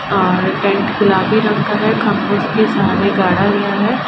और टेंट गुलाबी रंग का है। खंभे के सहारे गाड़ा गया है।